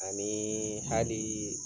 A ni hali